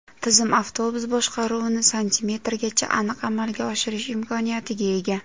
Tizim avtobus boshqaruvini santimetrgacha aniq amalga oshirish imkoniyatiga ega.